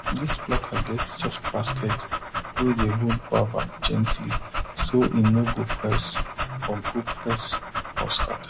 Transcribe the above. this plucker get soft basket wey dey hold guava gently so e no go press or go press or scatter